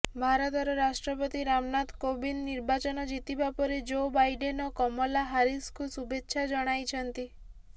ଭାରତର ରାଷ୍ଟ୍ରପତି ରାମନାଥ କୋବିନ୍ଦ ନିର୍ବାଚନ ଜିତିବା ପରେ ଜୋ ବାଇଡେନ ଓ କମଲା ହାରିସଙ୍କୁ ଶୁଭେଚ୍ଛା ଜଣାଇଛନ୍ତି